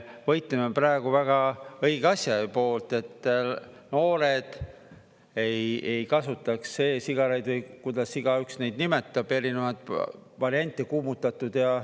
Me võitleme praegu väga õige asja poolt, et noored ei kasutaks e-sigareid, või kuidas igaüks neid nimetab, erinevaid variante, kuumutatud.